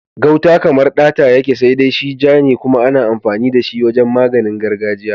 Gauta kamar ɗata yake, sai dai shi ja ne kuma ana amfani da shi wajen maganin gargajiya.